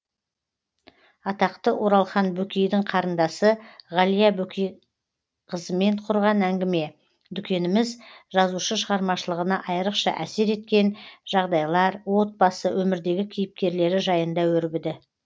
атақты оралхан бөкейдің қарындасы ғалия бөкейқызымен құрған әңгіме дүкеніміз жазушы шығармашылығына айрықша әсер еткен жағдайлар отбасы өмірдегі кейіпкерлері жайында өрбіді